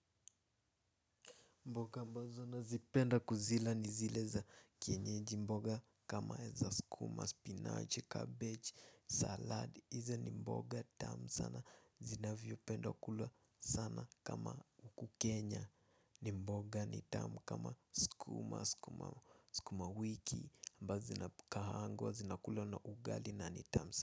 Mboga ambazo na zipenda kuzila ni zileza kienyeji mboga kama eza skumas, pinaoche, cabbage, salad, hiza ni mboga tamu sana, zinavyo penda kulwa sana kama mkukenya, ni mboga ni tamu kama skumas, skumawiki ambazo zinakulwa na ugali na ni tamu.